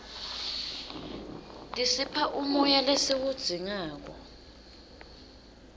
tisipha umoya lesiwudzingako